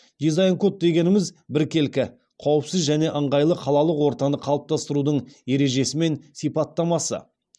дизайн код дегеніміз біркелкі қауіпсіз және ыңғайлы қалалық ортаны қалыптастырудың ережесі мен сипаттамасы